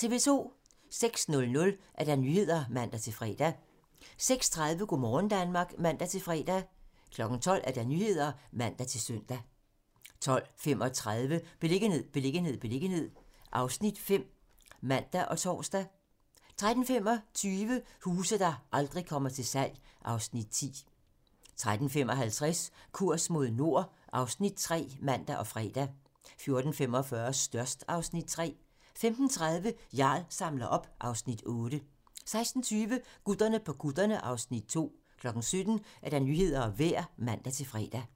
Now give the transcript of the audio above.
06:00: Nyhederne (man-fre) 06:30: Go' morgen Danmark (man-fre) 12:00: Nyhederne (man-søn) 12:35: Beliggenhed, beliggenhed, beliggenhed (Afs. 5)(man og tor) 13:25: Huse, der aldrig kommer til salg (Afs. 10) 13:55: Kurs mod nord (Afs. 3)(man og fre) 14:45: Størst (Afs. 3) 15:30: Jarl samler op (Afs. 8) 16:20: Gutterne på kutterne (Afs. 2) 17:00: Nyhederne og Vejret (man-fre)